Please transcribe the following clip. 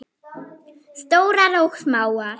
Stórar og smáar.